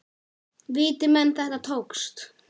Viti menn, þetta tókst.